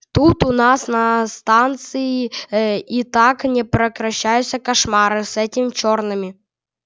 тут у нас на станции и так непрекращающийся кошмар с этими чёрными